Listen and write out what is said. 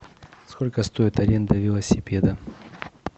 сколько стоит аренда велосипеда